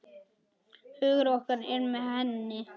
Hugur okkar er með henni.